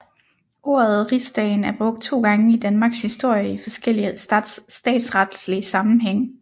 Ordet Rigsdagen er brugt to gange i Danmarks historie i forskellig statsretslig sammenhæng